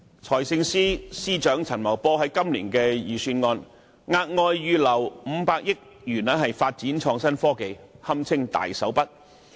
財政司司長陳茂波在今年的財政預算案中，額外預留500億元發展創新科技，堪稱大手筆。